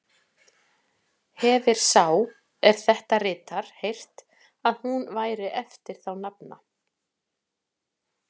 Hefir sá, er þetta ritar, heyrt, að hún væri eftir þá nafna